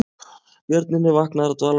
Björninn er vaknaður af dvalanum